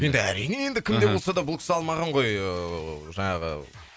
енді әрине енді кім де болса да бұл кісі алмаған ғой ыыы жаңағы